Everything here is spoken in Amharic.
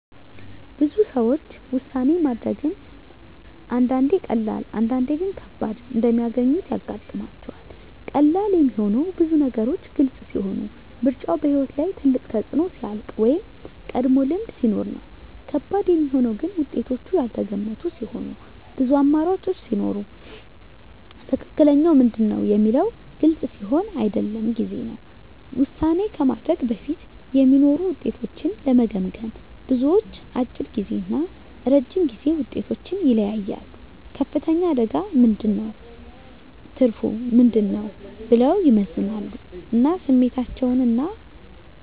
ብዙ ሰዎች ውሳኔ ማድረግን አንዳንዴ ቀላል፣ አንዳንዴ ግን ከባድ እንደሚያገኙት ያጋጥማቸዋል። ቀላል የሚሆነው ብዙ ነገሮች ግልጽ ሲሆኑ፣ ምርጫው በሕይወት ላይ ትልቅ ተፅዕኖ ሲያልቅ ወይም ቀድሞ ልምድ ሲኖር ነው። ከባድ የሚሆነው ግን ውጤቶቹ ያልተገመቱ ሲሆኑ፣ ብዙ አማራጮች ሲኖሩ ወይም “ትክክለኛው ምንድን ነው?” የሚለው ግልጽ ሲሆን አይደለም ጊዜ ነው። ውሳኔ ከማድረግ በፊት የሚኖሩ ውጤቶችን ለመገመገም፣ ብዙዎች፦ አጭር ጊዜ እና ረጅም ጊዜ ውጤቶችን ይለያያሉ “ከፍተኛ አደጋ ምን ነው? ትርፉ ምን ነው?” ብለው ይመዝናሉ ስሜታቸውን እና